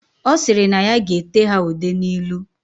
Osiri na ya ga ete ha ude na ilu.